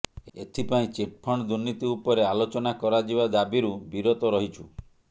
ଏଥିପାଇଁ ଚିଟ୍ଫଣ୍ଡ ଦୁର୍ନୀତି ଉପରେ ଆଲୋଚନା କରାଯିବା ଦାବିରୁ ବିରତ ରହିଛୁ